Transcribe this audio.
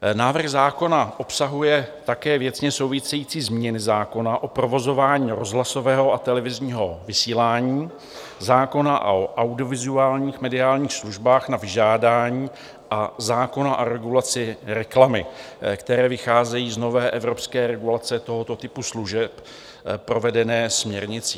Návrh zákona obsahuje také věcně související změny zákona o provozování rozhlasového a televizního vysílání, zákona o audiovizuálních mediálních službách na vyžádání a zákona o regulaci reklamy, které vycházejí z nové evropské regulace tohoto typu služeb provedené směrnicí.